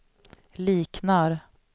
liknar